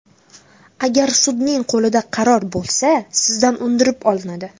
Agar sudning qo‘lida qaror bo‘lsa, sizdan undirib olinadi.